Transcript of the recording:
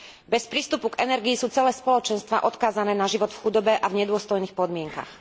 Bez prístupu k energii sú celé spoločenstvá odkázané na život v chudobe a v nedôstojných podmienkach.